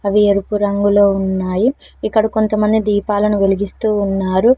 అవి ఎరుపు రంగులో ఉన్నాయి ఇక్కడ కొంతమంది దీపాలను వెలిగిస్తూ ఉన్నారు.